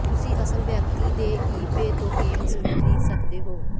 ਤੁਸੀਂ ਅਸਲ ਵਿਅਕਤੀ ਤੋਂ ਈਬੇ ਤੋਂ ਗੇਮਜ਼ ਵੀ ਖਰੀਦ ਸਕਦੇ ਹੋ